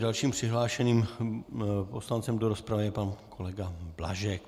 Dalším přihlášeným poslancem do rozpravy je pan kolega Blažek.